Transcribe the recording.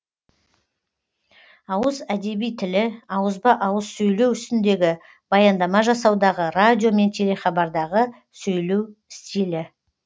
ауыз әдеби тілі ауызба ауыз сөйлеу үстіндегі баяндама жасаудағы радио мен телехабардағы сөйлеу стилі